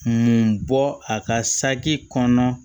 Mun bɔ a ka saki kɔnɔna